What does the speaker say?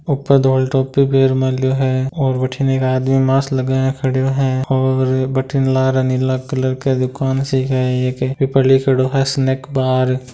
ऊपर पीर मेल्यो है और बठीने एक आदमी मास्क लगाया खड्यो हैऔर बठीने लारे नीला कलर क दुकान सी क है एक बिपर लिख्योड़ो है हंसने क बाहर--